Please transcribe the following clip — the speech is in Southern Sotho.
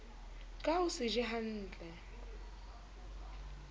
ka ho se je hnatle